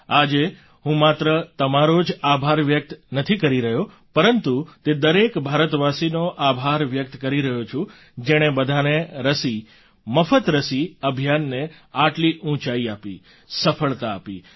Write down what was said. આજે હું માત્ર તમારો જ આભાર વ્યક્ત નથી કરી રહ્યો પરંતુ તે દરેક ભારતવાસીનો આભાર વ્યક્ત કરી રહ્યો છું જેણે બધાને રસી મફત રસી અભિયાનને આટલી ઊંચાઈ આપી સફળતા આપી